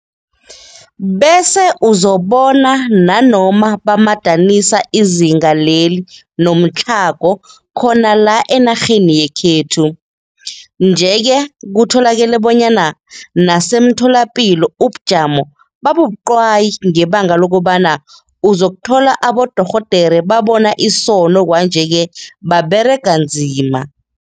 Bese uzobona nanoma bamadanisa izinga leli nomtlhago khona la enarheni yekhethu. Nje ke kutholakele bonyana nasemtholapilo ubujamo bubabuqwayi ngebanga lokobana uzothola abodorhodere babona isono kwanje-ke baberega nzima.